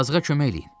Yazığa kömək eləyin.